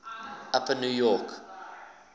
upper new york